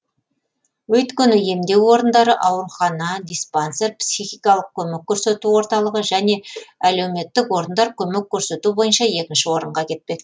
өйткені емдеу орындары аурухана диспансер психикалық көмек көрсету орталығы және әлеуметтік орындар көмек көрсету бойынша екінші орынға кетпек